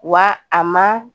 Wa a ma